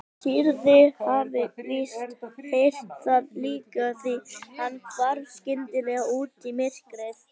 Týri hafði víst heyrt það líka því hann hvarf skyndilega út í myrkrið.